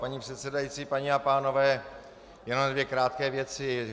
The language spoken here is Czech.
Paní předsedající, paní a pánové, jenom dvě krátké věci.